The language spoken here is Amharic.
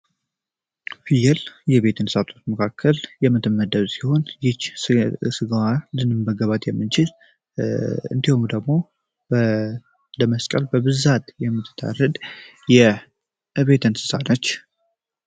ፍየል ከቤት እንስሳት መካከል የምትመደብ ሲሆን ይቺ ስጋዋን ልንበላት የምንችል እንዲሁም ደግሞ ለመስቀል በብዛት የምትታረድ የቤት እንስሳት ነች።